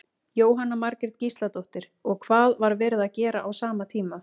Jóhanna Margrét Gísladóttir: Og hvað var verið að gera á sama tíma?